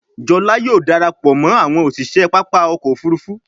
Jola yóò darapọ̀ mọ àwọn òṣiṣẹ pápá ọkọ̀-òfurufú.